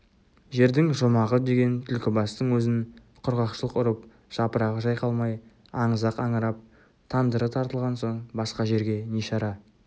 жердің жұмағы деген түлкібастың өзін құрғақшылық ұрып жапырағы жайқалмай аңызақ аңырап тандыры тартылған соң басқа жерге не шара